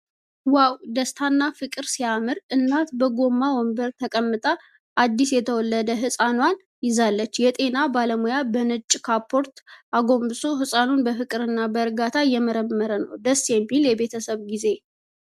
ዋው! ደስታና ፍቅር ሲያምር! እናት በጎማ ወንበር ተቀምጣ አዲስ የተወለደ ሕፃኗን ይዛለች። የጤና ባለሙያ በነጭ ካፖርት አጎንብሶ ሕፃኑን በፍቅርና በእርጋታ እየመረመረ ነው። ደስ የሚል የቤተሰብ ጊዜ።